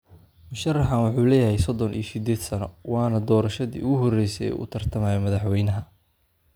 Musharaxan wuxuu leeyahay sodon iyo sideed sano, waana doorashadii ugu horeysay ee uu u tartamayo madaxweynaha.